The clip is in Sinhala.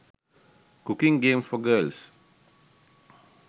cooking games for girls